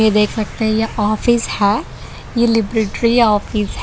देख सकते हैं ये ऑफिस है ये लिबर्टी ऑफिस है।